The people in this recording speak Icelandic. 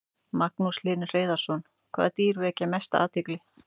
Magnús Hlynur Hreiðarsson: Hvaða dýr vekja mesta athygli?